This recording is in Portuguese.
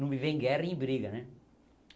Não me vê em guerra em briga, né?